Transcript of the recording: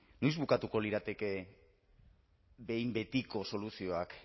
noiz bukatuko lirateke behin betiko soluzioak